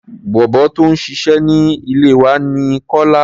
Bọ̀bọ́ tó ń ṣiṣẹ́ ní ilé wa ní Kọ́lá.